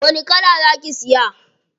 Wani kala za ki siya?